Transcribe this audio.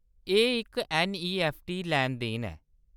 एह्‌‌ इक ऐन्नईऐफ्फटी लैनदेन ऐ।